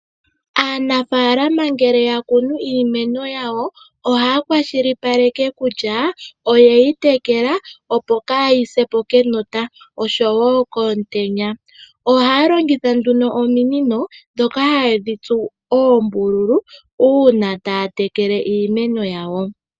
Aanafaalama ngele ya kunu iimeno yawo ohaya kwashilipaleke kutya oye yi tekela opo kaayise po kenota osho woo komutenya. Ohaya longitha ominino ndhoka hayedhi tsu oombululu uuna taya tekele iimeno yawo.